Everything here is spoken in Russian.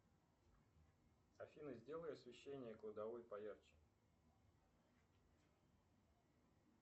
афина сделай освещение кладовой поярче